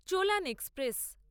Cholan express